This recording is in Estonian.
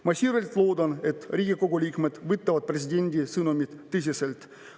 " Ma siiralt loodan, et Riigikogu liikmed võtavad presidendi sõnumit tõsiselt.